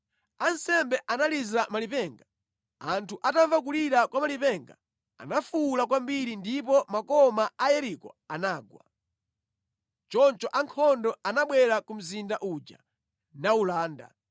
Ansembe analiza malipenga. Anthu atamva kulira kwa malipenga, anafuwula kwambiri ndipo makoma a Yeriko anagwa. Choncho ankhondo anabwera ku mzinda uja nawulanda.